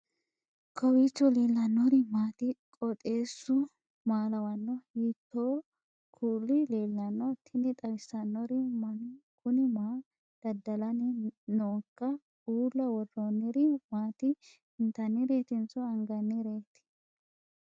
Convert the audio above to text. kowiicho leellannori maati ? qooxeessu maa lawaanno ? hiitoo kuuli leellanno ? tini xawissannori mannu kuni maa dadda'lanni nooiika uulla worroonniri maati intannireetinso angannireeti